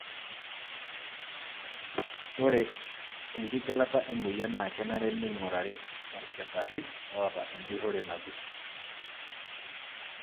Ore enkigilata emoyian naa kenare neingurari okitari ota enjurore nagut.